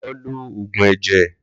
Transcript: Lọ lo Ògùn ẹ̀jẹ̀